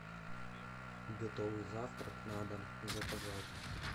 готовый завтрак на дом заказать